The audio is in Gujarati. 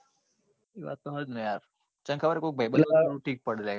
તો જ ને યાર કે ખબર કોઈ ભાઈબંધ હોય તો ઠીક પડે.